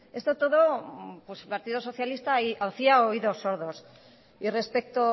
esto todo pues el partido socialista hacía oídos sordos y respecto